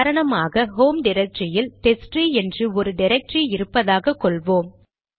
உதாரணமாக ஹோம் டிரக்டரியில் டெஸ்ட்ட்ரீ என்று ஒரு டிரக்டரி இருப்பதாக கொள்வோம்